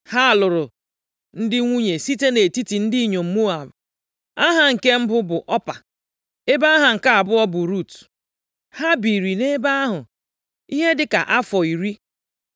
Ha lụrụ ndị nwunye site nʼetiti ndị inyom Moab. Aha nke mbụ bụ Ọpa, ebe aha nke abụọ bụ Rut. Ha biri nʼebe ahụ ihe dị ka afọ iri.